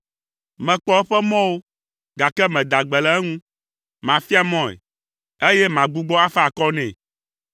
Mekpɔ eƒe mɔwo, gake mada gbe le eŋu. Mafia mɔe, eye magbugbɔ afa akɔ nɛ.